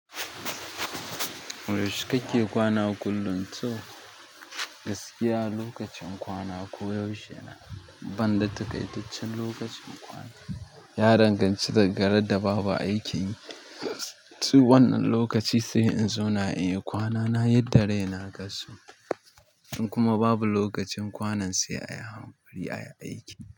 Yaushe kake kwana kullum? To gaskiya lokacin kwana koyaushe ne, ban da takaitaccen lokacin kwana. Ya danganci daga rada babu aikin yi. To wannan lokaci sai in zauna in yi kwana na yadda raina ka so. In kuma babu lokacin kwanan sai a yi hanƙuri a yi aiki.